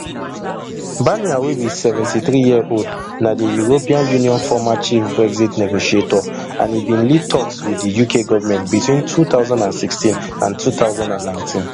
barnier wey be seventy-threeyearold na di european union former chief brexit negotiator and e bin lead toks wit di uk government between two thousand and sixteen and two thousand and nineteen